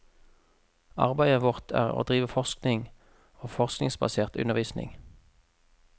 Arbeidet vårt er å drive forskning og forskningsbasert undervisning.